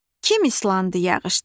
Kim islandı yağışda?